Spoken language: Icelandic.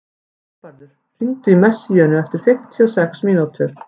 Hagbarður, hringdu í Messíönu eftir fimmtíu og sex mínútur.